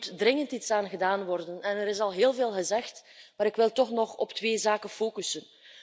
Hier moet dringend iets aan gedaan worden en er is al heel veel gezegd, maar ik wil toch nog op twee zaken focussen.